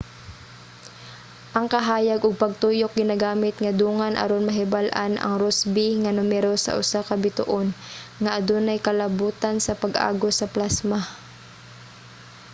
ang kahayag ug pagtuyok ginagamit nga dungan aron mahibal-an ang rossby nga numero sa usa ka bituon nga adunay kalabotan sa pag-agos sa plasma